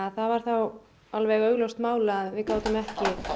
það var þá alveg augljóst mál að við gátum ekki